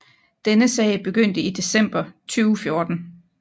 Denne sag begyndte i december 2014